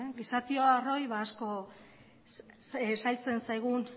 gizakioi asko zailtzen zaigun